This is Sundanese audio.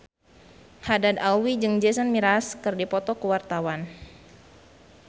Haddad Alwi jeung Jason Mraz keur dipoto ku wartawan